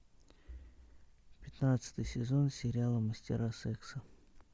пятнадцатый сезон сериала мастера секса